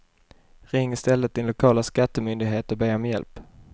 Ring i stället din lokala skattemyndighet och be om hjälp.